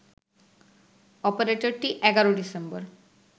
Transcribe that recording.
অপারেটরটি ১১ December